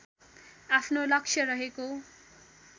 आफ्नो लक्ष्य रहेको